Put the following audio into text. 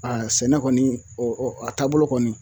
sɛnɛ kɔni o a taabolo kɔni